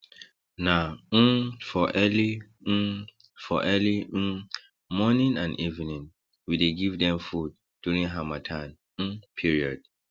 na um for early um for early um morning and evening we dey give dem food during harmattan um period